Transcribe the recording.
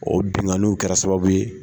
O benkanniw kɛra sababu ye